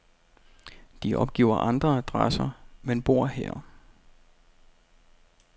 De opgiver andre adresser, men bor her.